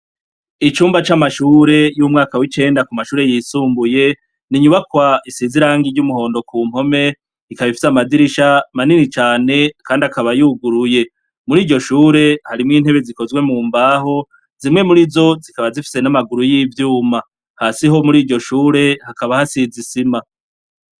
Icumba c'amashure y'umwaka w'icenda ku mashure yisumbuye ni inyubakwa isize irangi ry'umuhondo ku mpome, ikaba ifise amadirisha manini cane kandi akaba yuguruye. Muri iryo shure harimwo intebe zikozwe mu mbaho, zimwe muri zo zikaba zifise n'amaguru y'ivyuma. Hasi ho muri iryo shure hakaba hasize isima.